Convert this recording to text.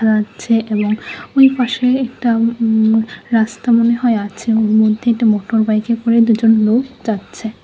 যাচ্ছে এবং ওই পাশে একটা উম রাস্তা মনে হয় আছে ওর মধ্যে একটা মোটরবাইকে করে দুজন লোক যাচ্ছে।